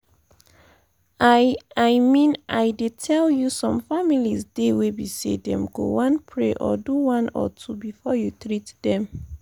i i mean i dey tell you some families dey wey be say them go one pray or do one or two before you treat them.